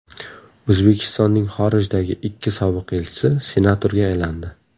O‘zbekistonning xorijdagi ikki sobiq elchisi senatorga aylandi.